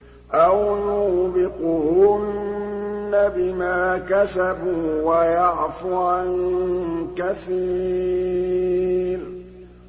أَوْ يُوبِقْهُنَّ بِمَا كَسَبُوا وَيَعْفُ عَن كَثِيرٍ